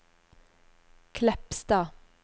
Kleppstad